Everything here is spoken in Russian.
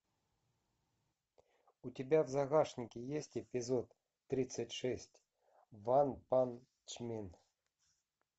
у тебя в загашнике есть эпизод тридцать шесть ванпанчмен